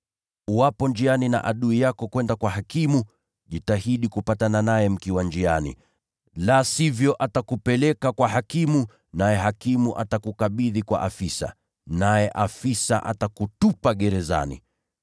Uwapo njiani na mshtaki wako kwenda kwa hakimu, jitahidi kupatana naye mkiwa njiani. La sivyo, atakupeleka kwa hakimu, naye hakimu atakukabidhi kwa afisa, naye afisa atakutupa gerezani.